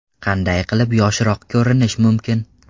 Qanday qilib yoshroq ko‘rinish mumkin?